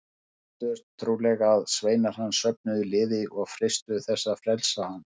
Þeir óttuðust trúlega að sveinar hans söfnuðu liði og freistuðu þess að frelsa hann.